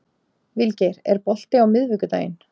Vilgeir, er bolti á miðvikudaginn?